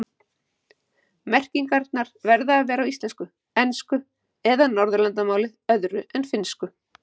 Merkingar verða að vera á íslensku, ensku eða Norðurlandamáli öðru en finnsku.